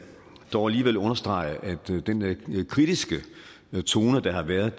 dog alligevel understrege at den kritiske tone der har været